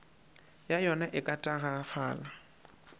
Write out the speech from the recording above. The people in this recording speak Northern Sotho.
ya yona e ka tagafala